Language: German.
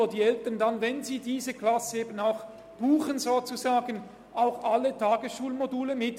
wenn die Eltern diese Klasse buchen, dann buchen sie damit auch alle Tagesschulmodule mit.